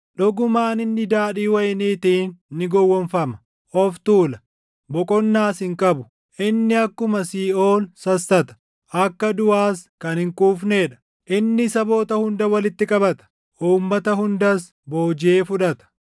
dhugumaan inni daadhii wayiniitiin ni gowwoomfama; of tuula; boqonnaas hin qabu. Inni akkuma siiʼool sassata; akka duʼaas kan hin quufnee dha. Inni saboota hunda walitti qabata; uummata hundas boojiʼee fudhata.